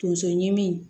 Tonso ɲimi